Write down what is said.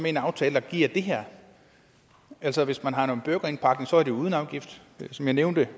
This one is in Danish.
i en aftale der giver det her altså hvis man har noget burgerindpakning er det uden afgift og som jeg nævnte